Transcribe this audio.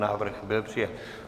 Návrh byl přijat.